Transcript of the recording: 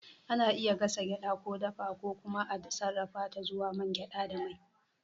Ana iya gasa gyaɗa, ko dafa, ko kuma a sarrafa ta zuwa man gyada da mai.